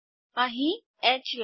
અહીં H line